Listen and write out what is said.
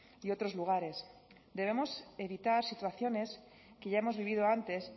y otros lugares debemos evitar situaciones que ya hemos vivido antes